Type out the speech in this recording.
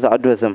zaɣ dozim